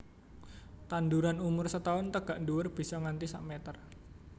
Tanduran umur setahun tegak ndhuwur bisa nganti sak meter